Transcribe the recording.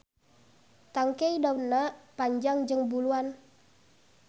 Tangkey daunna panjang jeung buluan.